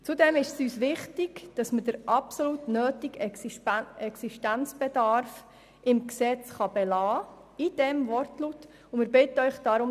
Zudem ist es uns wichtig, den absolut notwendigen Existenzbedarf mit diesem Wortlaut im Gesetz zu belassen.